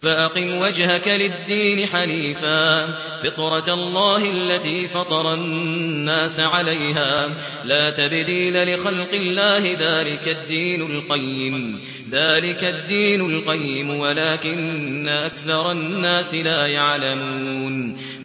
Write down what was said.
فَأَقِمْ وَجْهَكَ لِلدِّينِ حَنِيفًا ۚ فِطْرَتَ اللَّهِ الَّتِي فَطَرَ النَّاسَ عَلَيْهَا ۚ لَا تَبْدِيلَ لِخَلْقِ اللَّهِ ۚ ذَٰلِكَ الدِّينُ الْقَيِّمُ وَلَٰكِنَّ أَكْثَرَ النَّاسِ لَا يَعْلَمُونَ